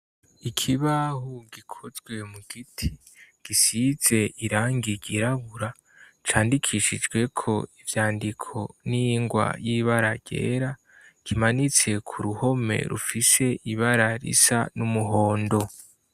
Ikibaho gikozwe mu giti gisize irangi ryirabura candikishijweko ivyandiko n'ingwa y'ibara yera kimanitse ku ruhome rufise ibara risa n'umuhondo.